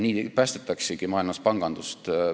Nii päästetaksegi maailmas pangandust.